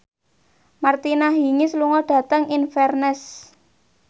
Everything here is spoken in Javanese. Martina Hingis lunga dhateng Inverness